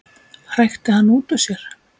hrækti hann út úr sér.